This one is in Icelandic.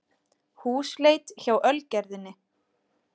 Húsleit hjá Ölgerðinni